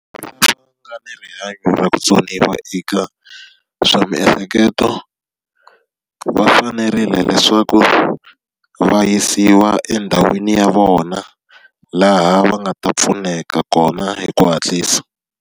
va nga ni rihanyo ra vutsoniwa eka swa miehleketo, va fanerile leswaku va yisiwa endhawini ya vona laha va nga ta pfuneka kona hi ku hatlisa.